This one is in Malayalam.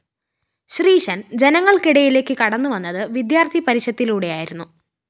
ശ്രീശന്‍ ജനങ്ങള്‍ക്കിടയിലേക്ക്‌ കടന്നുവന്നത്‌ വിദ്യാര്‍ത്ഥി പരിഷത്തിലൂടെയായിരുന്നു